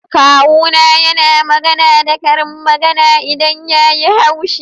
Kawu na yana magana da karin magana idan ya yi haushi.